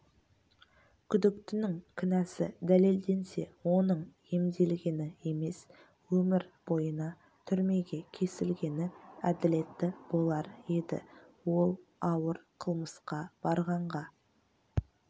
күдіктінің кінәсі дәлелденсе оның емделгені емес өмір бойына түрмеге кесілгені әділетті болар еді ол ауыр қылмысқа барғанға